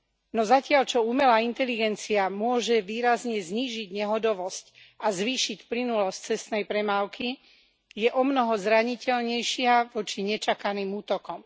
No zatiaľ čo umelá inteligencia môže výrazne znížiť nehodovosť a zvýšiť plynulosť cestnej premávky, je omnoho zraniteľnejšia voči nečakaným útokom.